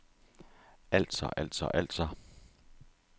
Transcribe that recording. altså altså altså